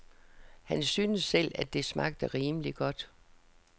Han syntes selv, at det smagte rimeligt godt.